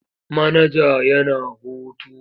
Manaja yana hutu.